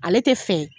Ale tɛ fɛ